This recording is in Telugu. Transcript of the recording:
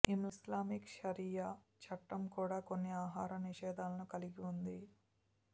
ఇస్లామిక్ షరియా చట్టం కూడా కొన్ని ఆహార నిషేధాలను కలిగి ఉంది